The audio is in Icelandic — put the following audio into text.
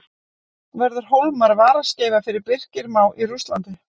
Verður Hólmar varaskeifa fyrir Birki Má í Rússlandi?